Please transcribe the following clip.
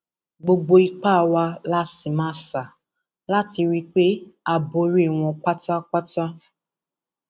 gbogbo ipá wa la sì máa sà láti rí i pé a borí wọn pátápátá